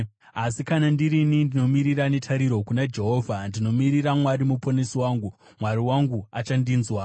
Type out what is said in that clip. Asi kana ndirini, ndinomirira netariro kuna Jehovha, ndinomirira Mwari Muponesi wangu; Mwari wangu achandinzwa.